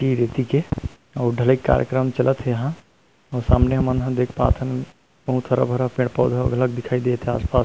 गिट्टी रेती के अउ ढलाई के कार्यक्रम चलत हे यहाँ सामने हमन ह देख पाथन बहुत हरा-भरा पेड़-पौधा दिखई देत हे आस-पास--